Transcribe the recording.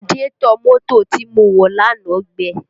Radiétọ̀ mọ́tò tí mo wọ̀ lánàá gbẹ